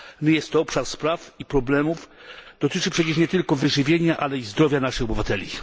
jest to obszar spraw i problemów, który dotyczy nie tylko wyżywienia, ale i zdrowia naszych obywateli.